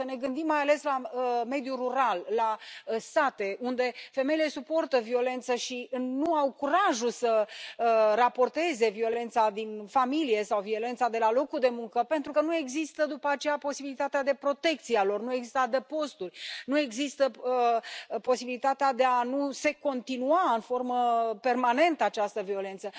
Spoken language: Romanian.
Să ne gândim mai ales la mediul rural, la sate, unde femeile suportă violență și nu au curajul să raporteze violența din familie sau violența de la locul de muncă pentru că nu există după aceea posibilitatea de a fi protejate, nu există adăposturi, nu există posibilitatea de a nu se continua în formă permanentă această violență.